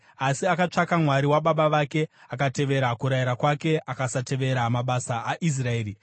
Asi akatsvaka Mwari wababa vake akatevera kurayira kwake akasatevera mabasa aIsraeri.